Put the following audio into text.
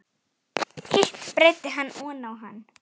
Hitt breiddi hann oná hann.